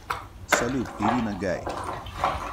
салют ирина гай